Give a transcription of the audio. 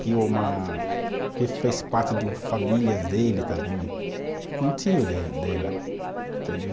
Que uma, que fez parte família dele também, um tio dela, entendeu?